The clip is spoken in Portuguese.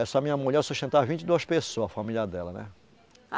Essa minha mulher eu sustentava vinte e duas pessoas, a família dela, né?